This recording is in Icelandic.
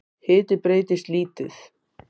Hiti breytist lítið